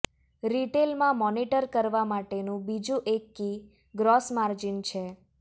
રિટેલમાં monitor કરવા માટેનું બીજું એક કી ગ્રોસ માર્જિન છે